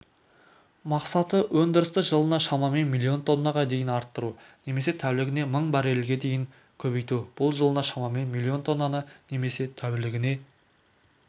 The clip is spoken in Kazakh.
мақсаты өндірісті жылына шамамен миллион тоннаға дейін арттыру немесе тәулігіне мың баррельге дейін көбейту бұл жылына шамамен миллион тоннаны немесе тәулігіне